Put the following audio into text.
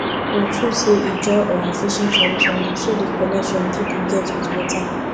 na true sey ijaw um fishing traditions dey show di connection pipo get wit water